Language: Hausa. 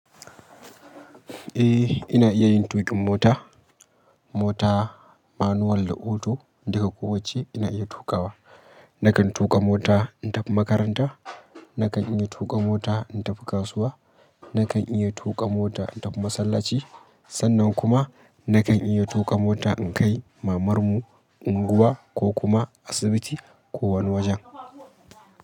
Eh ina iya yin tuƙin mota. Mota, manual da auto duka kowacce ina iya tuƙawa. Nakan tuƙa mota in tafi makaranta, nakan iya tuƙa mota in tafi kasuwa, nakan iya tuƙa mota in tafi masallaci. Sannan kuma nakan iya tuƙa mota in kai mamarmu unguwa ko kuma asibiti ko wani wajen.